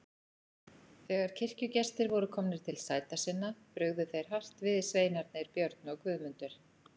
Þegar kirkjugestir voru komnir til sæta sinna brugðu þeir hart við sveinarnir, Björn og Guðmundur.